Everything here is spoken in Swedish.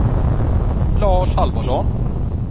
Lars Halvarsson